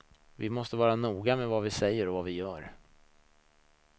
Vi måste vara noga med vad vi säger och vad vi gör.